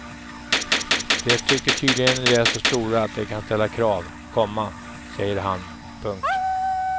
De tycker tydligen de är så stora att de kan ställa krav, komma säger han. punkt